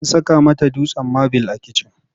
An saka mata dutsen mabil a kitchen.